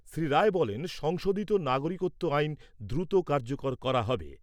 শ্রী রায় বলেন সংশোধিত নাগরিকত্ব আইন দ্রুত কার্যকর করা হবে।